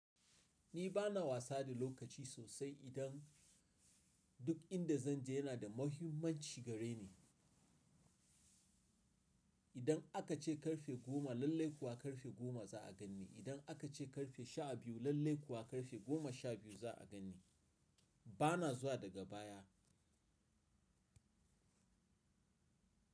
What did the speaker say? Ni bana wasa da lokaci sosai, idan duk inda zan je yana da muhimmanci gare ni. Idan aka ce ƙarfe goma, lallai kuwa ƙarfe goma za a ganni. Idan aka ce ƙarfe sha biyu, lallai kuwa ƙarfe goma sha biyu za a gani. Bana zuwa daga baya.